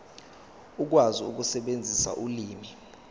ukwazi ukusebenzisa ulimi